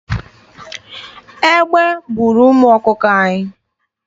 Egbe buuru ụmụ ọkụkọ anyị.